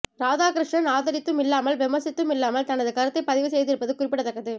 ராதாகிருஷ்ணன் ஆதரித்தும் இல்லாமல் விமர்சித்தும் இல்லாமல் தனது கருத்தை பதிவு செய்திருப்பது குறிப்பிடத்தக்கது